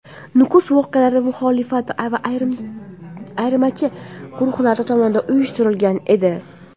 Nukus voqealari muxolifat va ayirmachi guruhlar tomonidan uyushtirilgan edi.